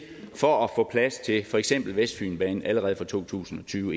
for at få plads til for eksempel vestfynbanen allerede fra to tusind og tyve